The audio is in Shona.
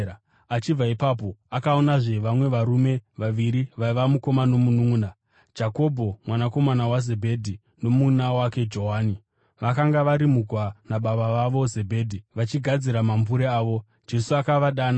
Achibva ipapo, akaonazve vamwe varume vaviri vaiva mukoma nomununʼuna, Jakobho mwanakomana waZebhedhi nomununʼuna wake Johani. Vakanga vari mugwa nababa vavo Zebhedhi vachigadzira mambure avo. Jesu akavadana,